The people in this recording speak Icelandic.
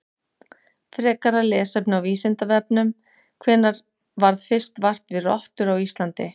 Frekara lesefni á Vísindavefnum: Hvenær varð fyrst vart við rottur á Íslandi?